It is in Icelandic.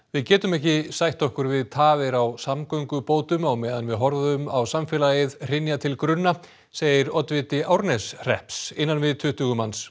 við getum ekki sætt okkur við tafir á samgöngubótum á meðan við horfum á samfélagið hrynja til grunna segir oddviti Árneshrepps innan við tuttugu manns